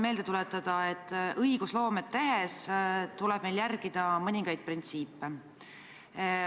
Aga millest see 21 000, mis see kalkulatsioon on?